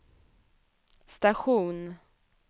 station